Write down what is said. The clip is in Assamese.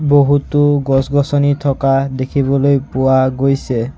বহুতো গছ-গছনি থকা দেখিবলৈ পোৱা গৈছে।